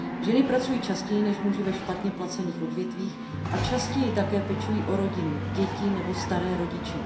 Ženy pracují častěji než muži ve špatně placených odvětvích a častěji také pečují o rodinu, děti nebo staré rodiče.